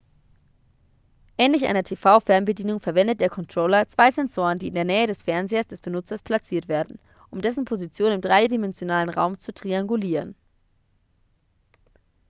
ähnlich einer tv-fernbedienung verwendet der controller zwei sensoren die in der nähe des fernsehers des benutzers platziert werden um dessen position im dreidimensionalen raum zu triangulieren